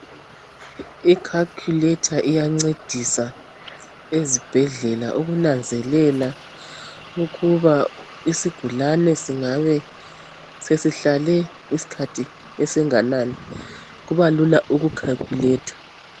I"calculator" iyancedisa ezibhedlela ukunanzelela ukuba isigulane singabe sesihlale isikhathi esinganani kubalula uku "calculator".